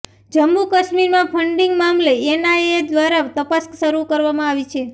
જમ્મુ કાશ્મીરમાં ફન્ડિંગ મામલે એનઆઈએ દ્વારા તપાસ શરૂ કરવામાં આવી છે